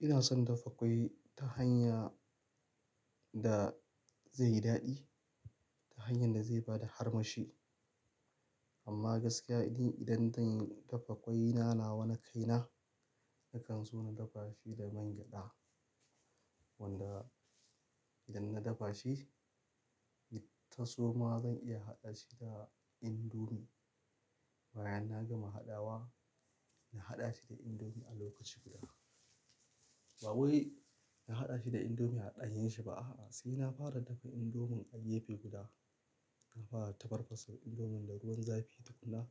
Ina son dafa ƙwai ta hanya da zai yi daɗi, ta hanyar da zai bada armashi. Amma gaskiyani idan zan dafa ƙwai na nawa na kaina, nakan so na dafa shi da man gyada wanda idan na dafa shi, taso ma zan iya haɗa shi da indomi. Bayan na gama haɗawa, na haɗa shi da indomi a lokaci guda. Ba wai na haɗa shi da indomi a ɗanyen shi ba a'a, sai na fara dafa indomin a yefe guda. Na fara da tafarfasa indomin da ruwan zafi tukun na,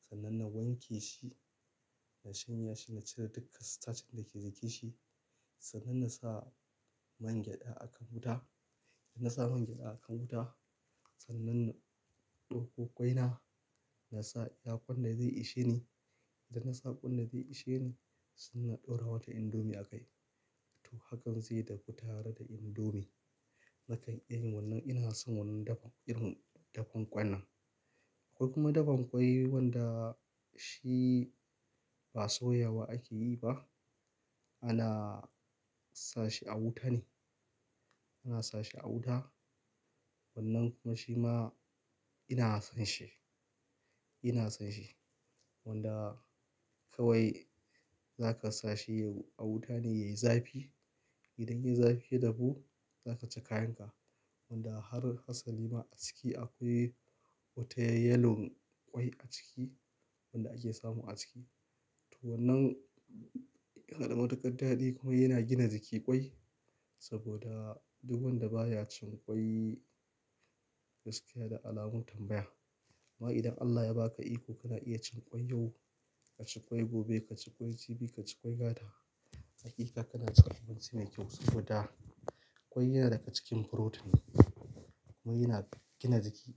sannan na wanke shi, na shanya shi, na cire duka starch dake jikin shi, sannan na sa man gyada a kan wuta. Idan na sa man gyada a kan wuta, sannan na ɗauko ƙwai na, na sa yaƙon da zai ishe ni. Idan na sa ƙwan da zai ishe ni, sai na ɗora wata indomi a kai. To hakan zai dafu tare da indomi. Nakan ina yin wannan, ina son wannan dafa irin dafun ƙwai nan. Ko kuma dafan ƙwai wanda shi ba soyawa ake yi ba. Ana sa shi a wuta ne, ana sa shi a wuta. Wannan kuma shi ma ina son shi, ina son shi wanda kawai zaka sa shi a wuta ne yayi zafi. Idan yayi zafi ya dahu, zaka ci kayan ka wanda har Hasalima aciki akwai wata yelon ƙwai a ciki wanda ake samu a ciki. To wannan yanada matukar daɗi kuma yana gina jiki ƙwai saboda duk wanda baya cin ƙwai gaskiya da alamun tambaya. Amma idan Allah ya ba ka iko kana iya cin ƙwai yau, ka ci ƙwai gobe, ka ci ƙwai jibi, ka ci ƙwai gata, hakika kana cin abinci mai kyau saboda ƙwai yana daga cikin protein kuma yana gina jiki.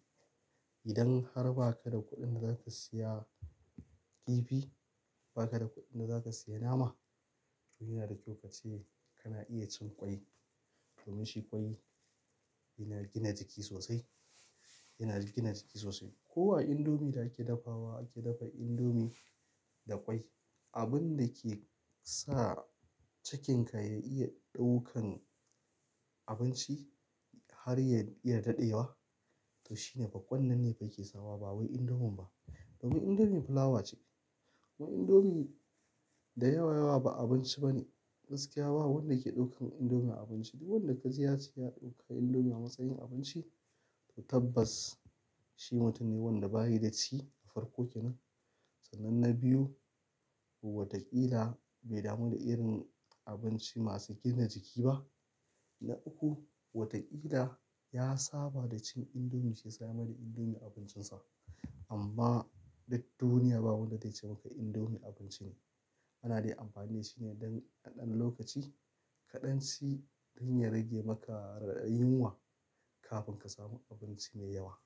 Idan har ba ka da kuɗin da zaka siya kifi, ba ka da kuɗin da zaka siya nama, to yana da kyau ka ce kana iya cin ƙwai domin shi ƙwai yana gina jiki sosai, yana gina jiki sosai. Ko a indomie da ake dafawa, ake dafa indomie da ƙwai. Abin da ke sa cikin ka ya iya ɗaukan abinci har ya iya daɗewa, to shine fah kwan nan ne yake sawa ba wai indomin ba. Domin indomie fulawa ce. Mu indomie da yawa yawa ba abinci ba ne. Gaskiya babu wanda ke ɗaukan indomie abinci. Duk wanda ka ji ya ce ya ɗauka indomie a matsayin abinci, to tabbas shi mutum ne wanda bayi da ci a farko kenan. Sannan na biyu, ko wataƙila bai damu da irin abinci masu gina jiki ba. Na uku, wataƙila ya saba da cin indomie shiyasa ya maiɗa indomie abincin sa. Amma duk duniya babu wadda zai ce maka indomie abinci ne. Ana dai amfani da shi ne don naɗan lokaci kaɗan ci don ya rage maka radadin yunwa kafin ka samu abinci mai yawa.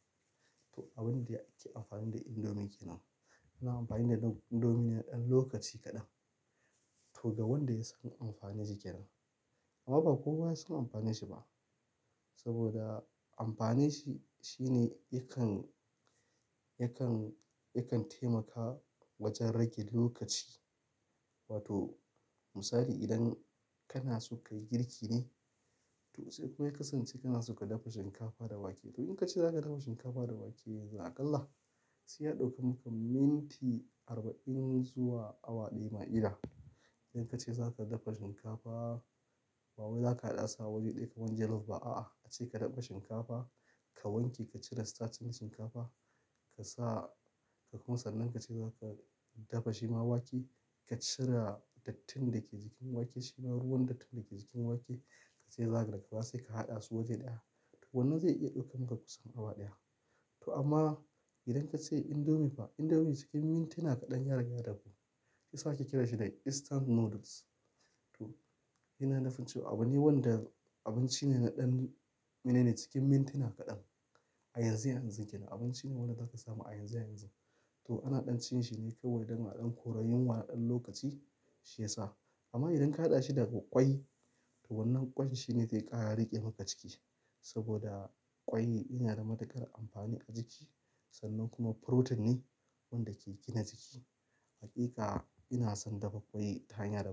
To abin da ake amfani da indomie ke nan. Ana amfani da indomie ne na ɗan lokaci kaɗan. To ga wanda ya san amfaninsa kenan. Amma ba kowa ya san amfanin shi ba. Saboda amfani shi shine yakan, yakan, yakan taimaka wajen rage lokaci. Wato misali idan kana so kayi girki ne, to kuma ya kasance kanason ka dafa shinkafa da wake. To in ka ce za ka dafa shinkafa da wake yanzu aƙalla, sai ya ɗauke maka minti arba'in zuwa awa ɗaya ma kila. Idan ka ce za ka dafa shinkafa, ba wai za ka haɗa su a waje ɗaya kaman jollof ba a'a. Ace ka dafa shinkafa, ka wanke, ka cire starch ɗin shinkafa, ka sa, ka koma sannan ka ce za ka dafa shi ma wake, ka cire dattin dake jikin wake shi ma ruwan dattin dake jikin wake, ka ce za ka daka ba sai ka haɗa su waje ɗaya. To wannan zai iya ɗaukan maka kusan awa ɗaya. To amma idan ka ce indomie fa, indomie cikin mintuna kaɗan ya rage dafu. Shiyasa ake kiranshi da instant noodles. To yana nufin cewa abu ne wanda abinci ne na ɗan, menena cikin mintuna kaɗan a yanzu yanzu ke nan. Abinci ne wanda zaka samu a yanzu yanzu. To ana ɗan cin shi ne kawai don a ɗan kora yunwa na ɗan lokaci shiyasa. Amma idan ka haɗa shi da ƙwai, to wannan ƙwai shi ne zai ƙara riƙe maka ciki saboda ƙwai yana da matuƙar amfani a jiki sannan kuma furotin ne wanda ke gina jiki. Hakika ina son dafa ƙwai ta hanya daban.